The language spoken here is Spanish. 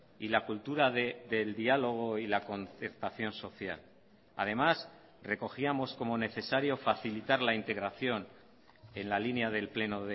y la cultura del diálogo y la concertación social además recogíamos como necesario facilitar la integración en la línea del pleno